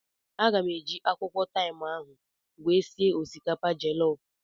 Aga m eji akwụkwọ taim ahụ were sie osikapa jellof